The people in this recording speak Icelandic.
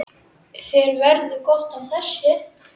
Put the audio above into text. Þér verður gott af þessu